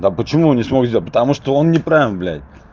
а почему он не смог сделать потому что он неправильно блядь